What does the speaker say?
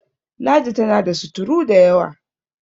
ladi tana da surutu da yawa!